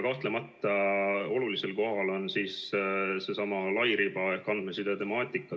Kahtlemata on olulisel kohal seesama lairiba ehk andmeside temaatika.